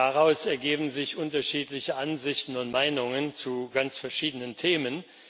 Daraus ergeben sich unterschiedliche Ansichten und Meinungen zu ganz verschiedenen Themen.